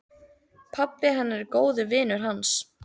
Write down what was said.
Pabbi hennar er góður vinur hans.